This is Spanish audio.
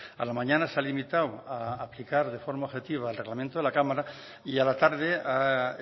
a la mañana se ha limitado a aplicar de forma objetiva el reglamento de la cámara y a la tarde ha